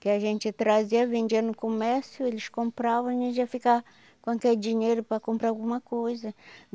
Que a gente trazia, vendia no comércio, eles compravam e a gente ia ficar com aquele dinheiro para comprar alguma coisa.